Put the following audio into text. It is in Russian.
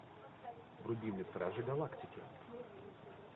вруби мне стражи галактики